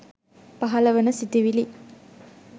පහළ වන සිතිවිලි